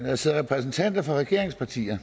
der sidder repræsentanter for regeringspartier